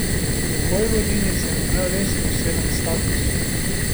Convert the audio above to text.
V Vojvodini sem imel res poseben status.